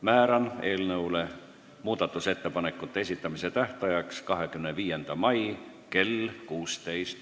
Määran eelnõu muudatusettepanekute esitamise tähtajaks 25. mai kell 16.